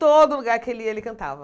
Todo lugar que ele ia, ele cantava.